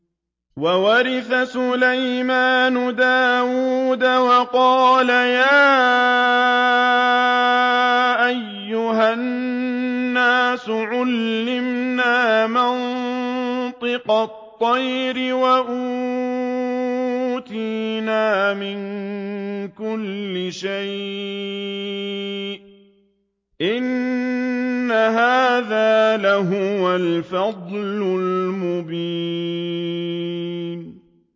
وَوَرِثَ سُلَيْمَانُ دَاوُودَ ۖ وَقَالَ يَا أَيُّهَا النَّاسُ عُلِّمْنَا مَنطِقَ الطَّيْرِ وَأُوتِينَا مِن كُلِّ شَيْءٍ ۖ إِنَّ هَٰذَا لَهُوَ الْفَضْلُ الْمُبِينُ